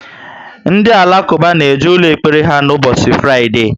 Ndị Alakuba na eje ụlọ ekpere ha ubosi Fraide